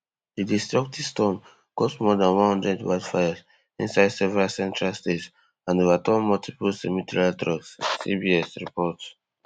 E Dey stop di storm cause more dan one hundred wildfires inside several central states and overturn multiple semi trail trucks CBS report